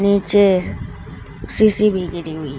नीचे शीशी भी गिरी हुई--